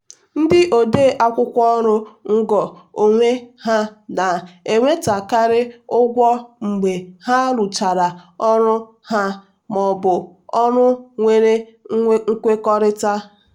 ndị ode akwụkwọ ọrụ ngo onwe ha na-enwetakarị ụgwọ mgbe ha rụchara ọrụ ha maọbụ ọrụ nwere nkwekọrịta.